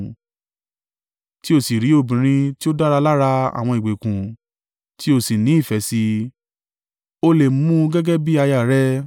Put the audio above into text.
tí o sì rí obìnrin tí ó dára lára àwọn ìgbèkùn, tí o sì ní ìfẹ́ sí i, o lè mu u gẹ́gẹ́ bí aya à rẹ.